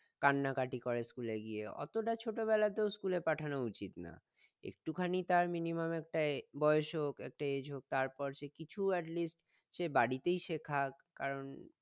কান্নাকটি করে school এ গিয়ে অতটা ছোটোবেলাতেও school এ পাঠানো উচিত না একটুখানি তার mimimum একটা বয়স হোক একটা age হোক তারপর সে কিছু atleast সে বাড়িতেই শেখাক কারণ